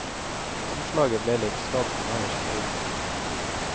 Omslaget litt skadd nederst på ryggen.